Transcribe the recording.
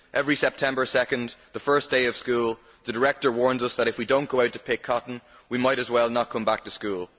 Every September 2, the first day of school, the Director warns us that if we don't go out to pick cotton we might as well not come back to school.